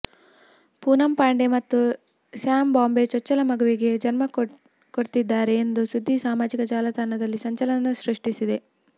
ಪೂನಂ ಪಾಂಡೆ ಮತ್ತು ಸ್ಯಾಮ್ ಬಾಂಬೆ ಚೊಚ್ಚಲ ಮಗುವಿಗೆ ಜನ್ಮ ಕೊಡ್ತಿದ್ದಾರೆ ಎಂದು ಸುದ್ದಿ ಸಾಮಾಜಿಕ ಜಾಲತಾಣದಲ್ಲಿ ಸಂಚಲನ ಸೃಷ್ಟಿಸಿದೆ